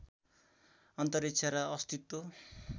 अन्तरिक्ष र अस्तित्व